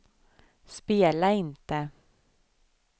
spela inte